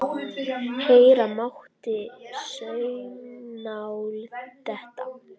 Heyra mátti saumnál detta.